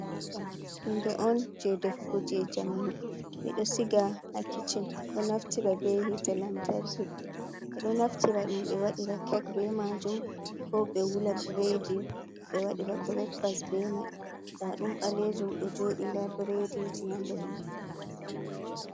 Hunde on je defugo je jamanu, ɓeɗo siga ha kicchin ɗo naftira be hite lantarki, ɓeɗo naftira ɗum ɓe waɗira kek be majum ko be wula bredi ɓe waɗira brakfast be mai nda ɗum balejum ɗo joɗi nda bredi ji handr mai.